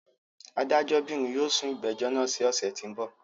Adájọ́bìnrìn yóò sún ìgbẹ́jọ́ náà sí ọ̀ṣẹ̀ tí ń bọ̀.